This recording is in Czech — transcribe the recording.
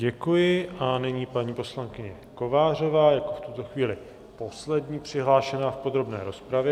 Děkuji a nyní paní poslankyně Kovářová jako v tuto chvíli poslední přihlášená v podrobné rozpravě.